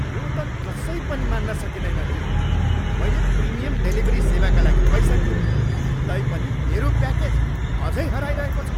यो त कसै पनि मान्न सकिँदैन नि! मैले प्रिमियम डेलिभरी सेवाका लागि पैसा तिरेँ, तैपनि मेरो प्याकेज अझै हराइरहेको छ!